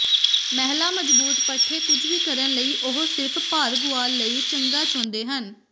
ਮਹਿਲਾ ਮਜ਼ਬੂਤ ਪੱਠੇ ਕੁਝ ਵੀ ਕਰਨ ਲਈ ਉਹ ਸਿਰਫ਼ ਭਾਰ ਗੁਆ ਲਈ ਚੰਗਾ ਚਾਹੁੰਦੇ ਹਨ